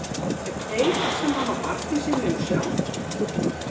Ef þeir sem hafa barn í sinni umsjá